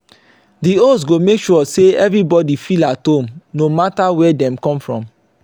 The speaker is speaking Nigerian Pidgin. di host go make sure say everybody feel at home no matter where dem come from